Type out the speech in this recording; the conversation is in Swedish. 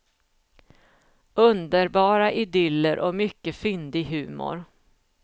Underbara idyller och mycket fyndig humor.